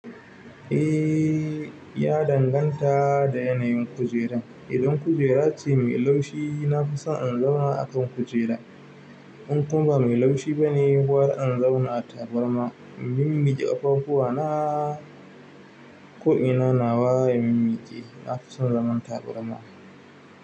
Eh ya danganta da yanayin kujeran. Idan kujera ce mai laushi, nafi son in zauna akan kujera in kuma ba mai laushi bane, gwarr in zauna a tabarma. Mimmiƙe ƙafafuwa na ko ina nawa ya mimmiƙe, na fi son zaman tabarma.